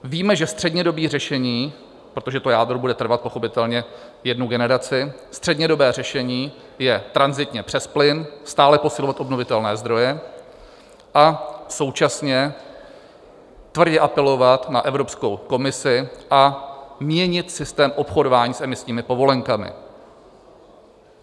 Víme, že střednědobé řešení - protože to jádro bude trvat pochopitelně jednu generaci - střednědobé řešení je tranzitně přes plyn, stále posilovat obnovitelné zdroje a současně tvrdě apelovat na Evropskou komisi a měnit systém obchodování s emisními povolenkami.